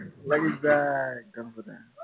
লাগি যায় একদম পুৰা